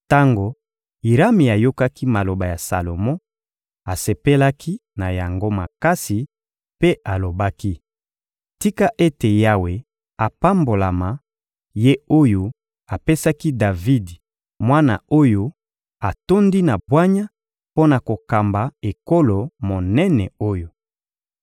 Tango Irami ayokaki maloba ya Salomo, asepelaki na yango makasi mpe alobaki: — Tika ete Yawe apambolama, Ye oyo apesaki Davidi mwana oyo atondi na bwanya mpo na kokamba ekolo monene oyo!